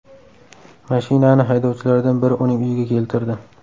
Mashinani haydovchilardan biri uning uyiga keltirdi.